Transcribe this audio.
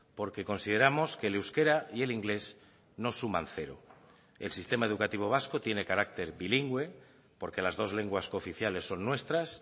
porque consideramos que el euskera y el inglés no suman cero el sistema educativo vasco tiene carácter bilingüe porque las dos lenguas cooficiales son nuestras